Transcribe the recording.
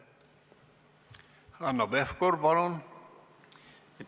Hanno Pevkur, palun!